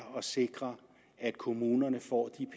at sikre at kommunerne får de